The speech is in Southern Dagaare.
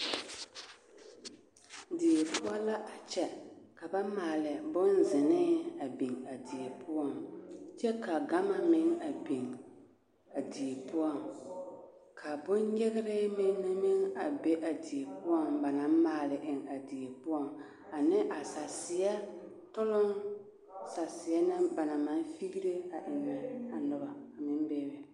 Die poɔ la a kyɛ ka maale bonzenee a biŋ a die poɔŋ kyɛ ka ɡama meŋ a biŋ a die poɔŋ ka bonnyeɡere mine meŋ a be a die poɔŋ ba na maale eŋ a die poɔŋ ane a saseɛ toloŋ saseɛ na ba na maŋ fiɡire ennɛ a noba a meŋ bebe.